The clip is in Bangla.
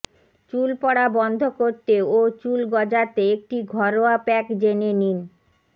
চুল পড়া বন্ধ করতে ও চুল গজাতে একটি ঘরোয়া প্যাক জেনে নিন